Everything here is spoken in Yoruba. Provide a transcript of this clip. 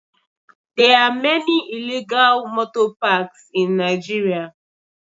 There are many illegal motor parks in Nigeria